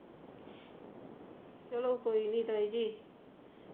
ਚਲੋ ਕੋਈ ਨਹੀ ਤਾਈ ਜੀ